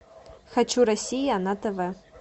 хочу россия на тв